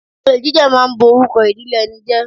Olè jíjà ma ń borúkọ ìdílé ẹni jẹ́